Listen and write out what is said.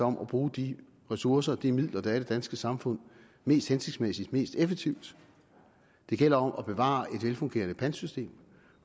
om at bruge de ressourcer og de midler der er i det danske samfund mest hensigtsmæssigt og mest effektivt at det gælder om at bevare et velfungerende pantsystem